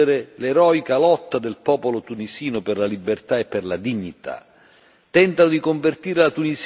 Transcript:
Questi attacchi tentano di distruggere l'eroica lotta del popolo tunisino per la libertà e per la dignità